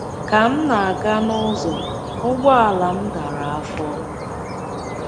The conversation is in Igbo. Ka m na -- aga n’ụzọ, ụgbọala m dara afọ.